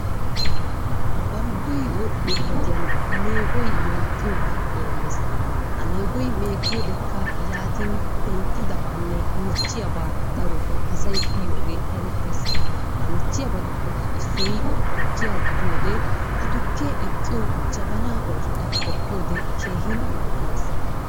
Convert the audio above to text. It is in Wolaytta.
Balggoy wodhdhiyo wodiyan meegoy meeggiyogaa doommees. Ha meegoy meeggiyodekka yaatin penttidabanne michchiyabaa darotoo asay uyiyogee erettees. Ha michchiyabatuppekka issoy tukkiya gidiyode ha tukkee eqqiyo jabanaa oosota qoppiyode keehin malaalees.